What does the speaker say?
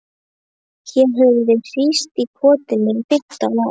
Hér höfum við hírst í kotinu í fimmtán ár.